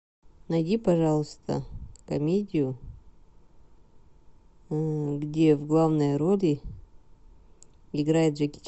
найди пожалуйста комедию где в главной роли играет джеки